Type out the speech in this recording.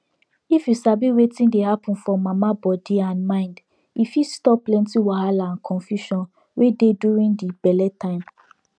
if you sabi wetin dey happen for mama body and mind e fit stop plenty wahala and confusion wey dey during the belle time